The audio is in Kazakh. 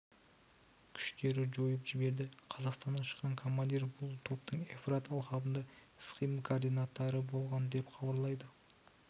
күштері жойып жіберді қазақстаннан шыққан командир бұл топтың евфрат алқабында іс-қимыл координаторы болған деп хабарлайды